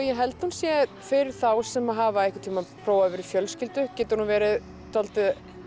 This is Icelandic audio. ég held hún sé fyrir þá sem hafa einhvern tímann prófað að vera í fjölskyldu getur hún verið dálítið